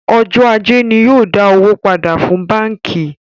Ọjọ́ ajé ni yóò dá owó pàdà fún báńkì